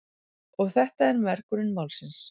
Og þetta er mergurinn málsins.